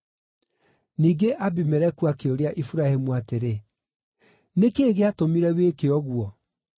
Ningĩ Abimeleku akĩũria Iburahĩmu atĩrĩ, “Nĩ kĩĩ gĩatũmire wĩke ũguo?”